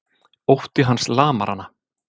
Ótti hans lamar hana.